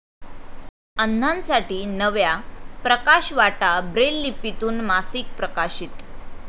अंधांसाठी नव्या 'प्रकाशवाटा', ब्रेललिपीतून मासिक प्रकाशित